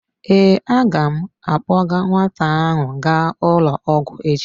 Ee, a ga m akpọga nwata ahụ gaa ụlọ ọgwụ echi.